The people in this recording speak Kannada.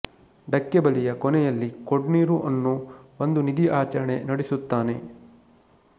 ಢಕ್ಕೆ ಬಲಿಯ ಕೊನೆಯಲ್ಲಿ ಕೊಡ್ನೀರು ಅನ್ನೋ ಒಂದು ನಿಧಿ ಆಚರಣೆ ನಡೆಸುತ್ತಾನೆ